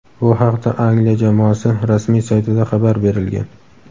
Bu haqda Angliya jamoasi rasmiy saytida xabar berilgan.